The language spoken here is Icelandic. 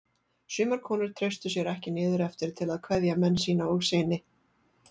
Sumar konur treystu sér ekki niður eftir til að kveðja menn sína og syni.